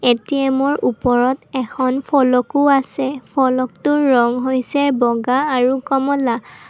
ATM ৰ ওপৰত এখন ফলকো আছে ফলকটোৰ ৰং হৈছে বগা আৰু কমলা।